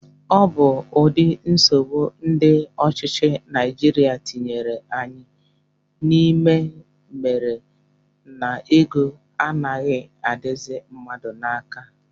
Ọ bụ ụdị nsogbu ndị ọchịchị Naijiria tinyere anyị n'ime mere na ego anaghị adịzi mmadụ n'aka